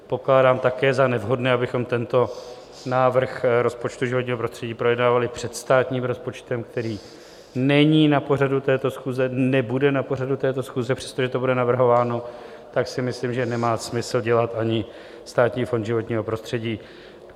Pokládám také za nevhodné, abychom tento návrh rozpočtu životního prostředí projednávali před státním rozpočtem, který není na pořadu této schůze, nebude na pořadu této schůze, přestože to bude navrhováno, tak si myslím, že nemá smysl dělat ani Státní fond životního prostředí.